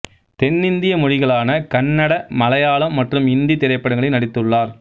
தென்னிந்திய மொழிகளான கன்னட மலையாளம் மற்றும் இந்தி திரைப்படங்களில் நடித்துள்ளார்